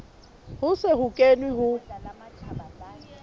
ho se ho kenwe ho